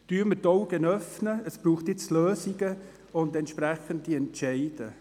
Öffnen wir die Augen, es braucht nun Lösungen und entsprechende Entscheidungen.